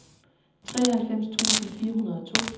treoghalvfems tusind fire hundrede og to